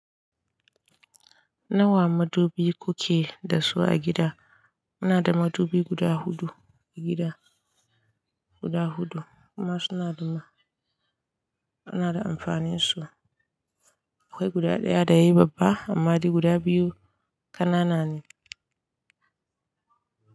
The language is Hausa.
Nawa madubi kuke da su a gida? Muna da madubi guda huɗu, a gida, guda huɗu kuma suna da ma, suna da amfanin su. Akwai guda ɗaya da yayi babba, amma dai guda biyu ƙanana ne.